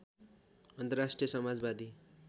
अन्तर्राष्ट्रिय समाजवादी